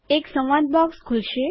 એક સંવાદ બોક્સ ખુલશે